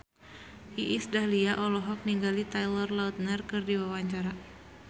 Iis Dahlia olohok ningali Taylor Lautner keur diwawancara